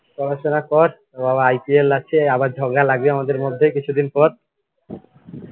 পড়াশুনা কর আবার IPL আছে আবার ঝগড়া লাগবে আমাদের মধ্যে কিছুদিন পর